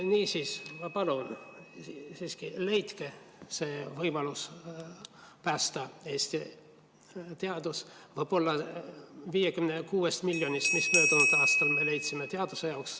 Niisiis, ma palun, leidke see võimalus päästa Eesti teadus, võib-olla 56 miljonist eurost, mis me möödunud aastal leidsime teaduse jaoks ...